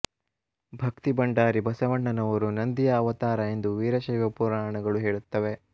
ಭಕ್ತಿಭಂಡಾರಿ ಬಸವಣ್ಣನವರು ನಂದಿಯ ಅವತಾರ ಎಂದು ವೀರಶೈವ ಪುರಾಣಗಳು ಹೇಳುತ್ತವೆ